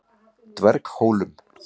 Dverghólum